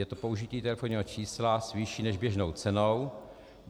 Je to použití telefonního čísla s vyšší než běžnou cenou.